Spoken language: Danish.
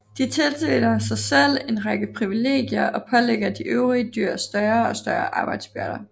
De tildeler sig selv en række privilegier og pålægger de øvrige dyr større og større arbejdsbyrder